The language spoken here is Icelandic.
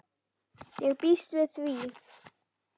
Ég býst við því.